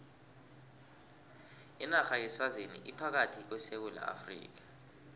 inarha yeswazini ingaphakathi kwesewula afrika